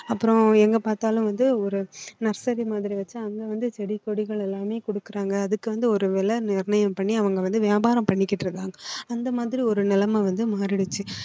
அப்புறம் எங்க பார்த்தாலும் வந்து ஒரு nursery மாதிரி வச்சு அவங்க வந்து செடி கொடிகள் எல்லாமே கொடுக்குறாங்க அதுக்கு வந்து ஒரு விலை நிர்ணயம் பண்ணி அவங்க வந்து வியாபாரம் பண்ணிக்கிட்டு இருக்காங்க அந்த மாதிரி ஒரு நிலைமை வந்து மாறிடுச்சு